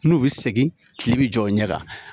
N'u bɛ segin kile bi jɔ u ɲɛ kan